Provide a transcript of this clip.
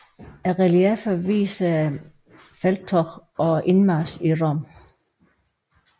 Reliefferne viser felttoget og indmarchen i Rom